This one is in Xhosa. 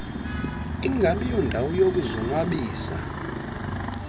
ingabi yondawo yokuzonwabisa